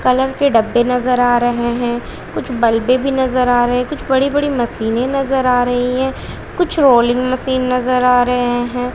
Colour के डब्बे नजर आ रहे हैं कुछ बल्बे भी नजर आ रहे हैं कुछ बड़ी-बड़ी मशीनें नजर आ रही हैं कुछ रोलिंग मशीन नजर आ रहे हैं।